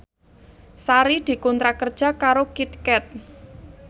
Sari dikontrak kerja karo Kit Kat